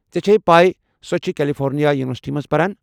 ژےٚ چھیٚیہِ پیہ سۄ چھےٚ کٮ۪لفورنیا یونورسٹی منٛز پران ۔